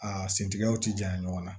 A sentigɛw ti janya ɲɔgɔn na